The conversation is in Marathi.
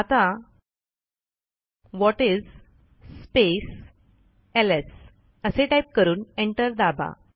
आता whatis space L S type करून एंटर दाबा